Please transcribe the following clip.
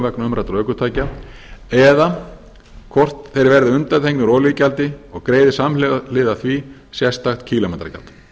vegna umræddra ökutækja eða hvort þeir verði undanþegnir olíugjaldi og greiði samhliða því sérstakt kílómetragjald